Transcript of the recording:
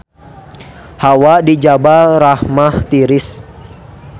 Hawa di Jabal Rahmah tiris